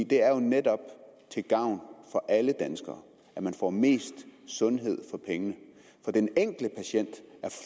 det er jo netop til gavn for alle danskere at man får mest sundhed for pengene den enkelte patient er